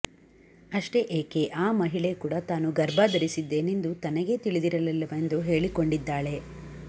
ಅಷ್ಟೇ ಏಕೆ ಆ ಮಹಿಳೆ ಕೂಡ ತಾನು ಗರ್ಭ ಧರಿಸಿದ್ದೇನೆಂದು ತನಗೇ ತಿಳಿದಿರಲಿಲ್ಲವೆಂದು ಹೇಳಿಕೊಂಡಿದ್ದಾಳೆ